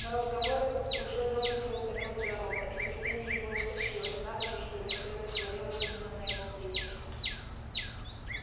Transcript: но разговор этот уже донельзя утомил джералда и терпение его истощилось надо же чтобы все это свалилось именно на его плечи